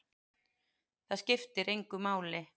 Það skiptir engu máli!